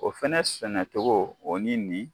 O fana sɛnɛcogo o ni nin